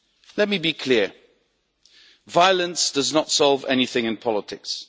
Let me be clear violence does not solve anything in politics.